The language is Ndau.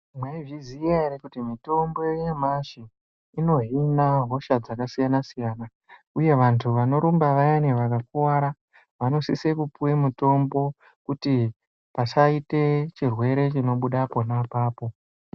Mwaizviziya ere kuti mitombo yanyamashi inohina hosha dzakasiyana-siyana uye vantu vanorumba vayani vakakuwara vanosise kupuwe mitombo kuti pasaite chirwere chinobuda pona apapo.